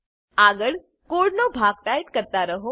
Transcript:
આગળ કોડનો ભાગ ટાઈપ કરતા રહો